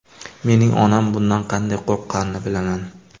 Mening onam bundan qanday qo‘rqqanini bilaman.